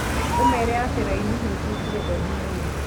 ũmeere atĩ raini nĩ ituĩkire ndaihu mũno.